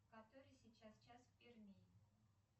который сейчас час в перми